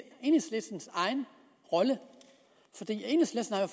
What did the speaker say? enhedslistens egen rolle